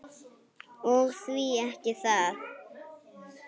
Og því ekki það.